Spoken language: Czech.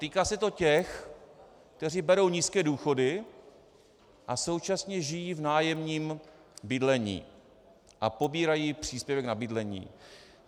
Týká se to těch, kteří berou nízké důchody a současně žijí v nájemním bydlení a pobírají příspěvek na bydlení.